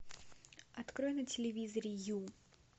открой на телевизоре ю